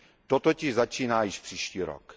To totiž začíná již příští rok.